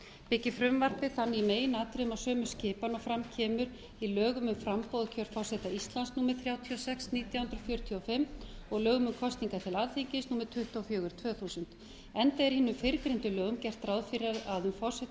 byggir frumvarpið það í meginatriðum á sömu skipan og fram kemur í lögum um framboð og kjör forseta íslands númer þrjátíu og sex nítján hundruð fjörutíu og fimm og lögum um kosningar til alþingis númer tuttugu og fjögur tvö þúsund enda er í hinum fyrrgreindu lögum gert ráð fyrir að við